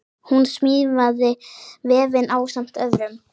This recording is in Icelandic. Hún smíðaði vefinn ásamt öðrum.